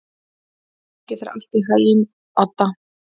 Gangi þér allt í haginn, Odda.